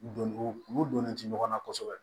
Don u donnen tɛ ɲɔgɔn na kosɛbɛ